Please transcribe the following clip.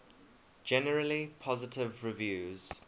generally positive reviews